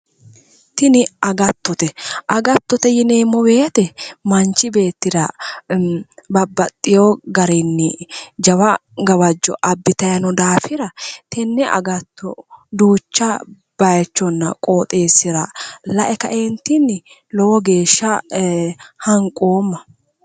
Tini agattote, agattote yinneemmo woyte manchi beettira babbaxino garinni jawa gawajo abbittani no daafira tene agatto duucha bayichonna qoxxeessira lae kaeentinni lowo geeshsha hanqoomma".